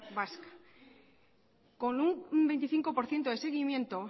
vasca con un veinticinco por ciento de seguimiento